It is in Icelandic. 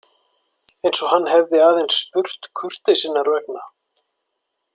Eins og hann hefði aðeins spurt kurteisinnar vegna.